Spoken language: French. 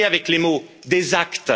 Assez avec les mots, des actes!